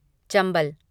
Chambal